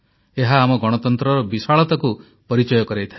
ଏହା ଆମ ଗଣତନ୍ତ୍ରର ବିଶାଳତାକୁ ପରିଚୟ କରାଇଥାଏ